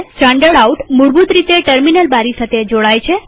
standard out મૂળભૂત રીતે terminal બારી સાથે જોડાયેલ હોય છે